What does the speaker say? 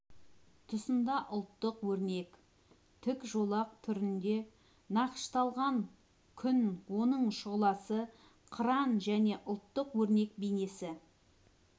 тұсында ұлттық өрнек тік жолақ түрінде нақышталған күн оның шұғыласы қыран және ұлттық өрнек бейнесі